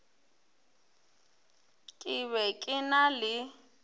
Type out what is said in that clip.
ke be ke na le